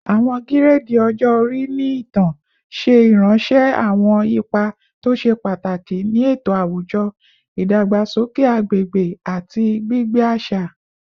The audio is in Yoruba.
Awọn giredi ọjọ-ori ni itan ṣe iranṣẹ awọn ipa to ṣe pataki ni eto awujọ, idagbasoke agbegbe, ati gbigbe aṣa